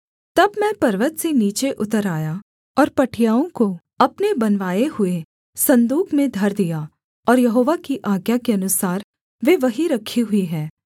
तब मैं पर्वत से नीचे उतर आया और पटियाओं को अपने बनवाए हुए सन्दूक में धर दिया और यहोवा की आज्ञा के अनुसार वे वहीं रखीं हुई हैं